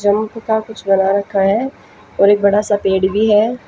का कुछ बना रखा है और एक बड़ा सा पेड़ भी है।